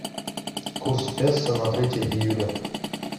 курс песо на третье июля